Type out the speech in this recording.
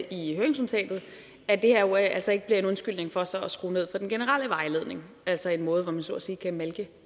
i høringsnotatet at det her jo altså ikke bliver en undskyldning for så at skrue ned for den generelle vejledning altså en måde hvor man så at sige kan malke